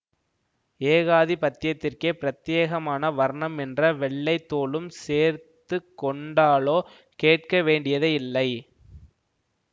ஏகாதிபத்தியத்திற்கே பிரத்யேகமான வர்ணம் என்ற வெள்ளை தோலும் சேர்த்து கொண்டாலோ கேட்க வேண்டியதே இல்லை